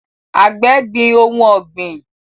Àgbẹ̀ gbin ohun ọ̀gbìn